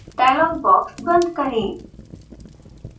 dialog box बंद करें